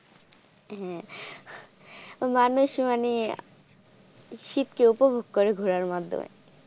হ্যাঁ মানুষ মানে শীতকে উপভোগ করে ঘোরার মাধ্যমে।